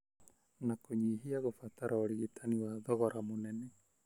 na kũnyihia gũbatara ũrigitani wa thogora mũnene.